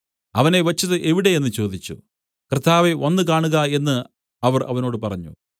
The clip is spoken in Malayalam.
അവനെ വെച്ചത് എവിടെ എന്നു ചോദിച്ചു കർത്താവേ വന്നു കാണുക എന്നു അവർ അവനോട് പറഞ്ഞു